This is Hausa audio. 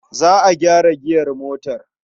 Za a gyara giyar motar.